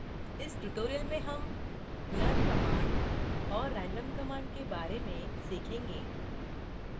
इस tutorial में हम learn कमांड और random कमांड के बारे में सीखेंगे